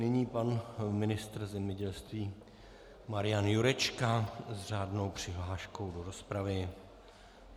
Nyní pan ministr zemědělství Marian Jurečka s řádnou přihláškou do rozpravy.